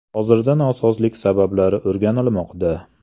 Hozirda nosozlik sabablari o‘rganilmoqda.